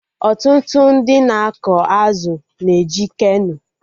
Ọtụtụ ndị na-akọ azụ na eji Keno